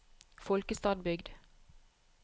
Folkestadbygd